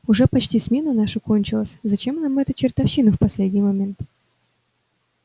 уже почти смена наша кончилась зачем нам эта чертовщина в последний момент